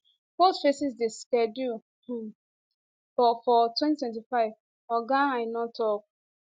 both phases dey scheduled um for 2025 oga aina tok